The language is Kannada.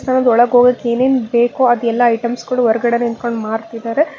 ನಮಗೆ ಒಳಕೋಗಕ್ಕೆ ಏನೇನ್ ಬೇಕೋ ಅದೆಲ್ಲ ಐಟಮ್ಸ್ ಗಳು ಹೊರಗಡೆ ನಿಂತ್ಕೊಂಡ್ ಮಾರ್ತಿದ್ದಾರೆ.